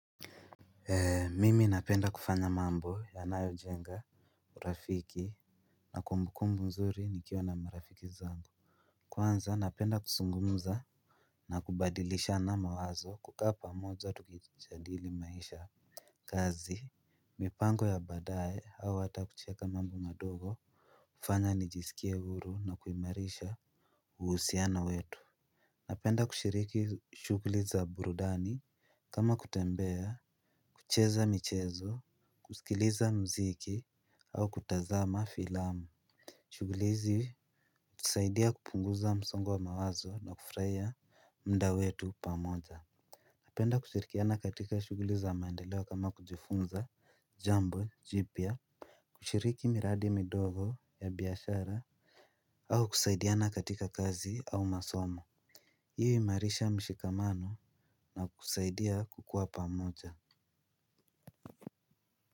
Mimi napenda kufanya mambo yanayo jenga urafiki na kumbukumbu mzuri nikiwa na marafiki zangu. Kwanza napenda kusungumza na kubadilishana mawazo kukaa pamoja tukijadili maisha. Kazi mipango ya badae au hata kucheka mambo madogo. Fanya nijisikie uru na kuimarisha uhusiano wetu. Napenda kushiriki shugli za burudani. Kama kutembea kucheza michezo kusikiliza mziki au kutazama filamu. Shughuli izi husaidia kupunguza msongo wa mawazo na kufrahia muda wetu pamoja. Napenda kushirikiana katika shugli za mandeleo kama kujifunza jambo jipya. Kushiriki miradi midogo ya biashara au kusaidiana katika kazi au masomo hii huimarisha mshikamano na kusaidia kukua pamoja.